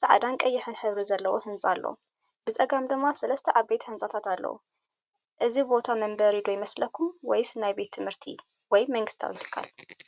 ጻዕዳን ቀይሕን ሕብሪ ዘለዎ ህንጻ ኣሎ። ብጸጋም ድማ ሰለስተ ዓበይቲ ህንጻታት ኣሎ። እዚ ቦታ መንበሪ ዶ ይመስለኩም ወይስ ናይ ትምህርቲ ወይ መንግስታዊ ትካል?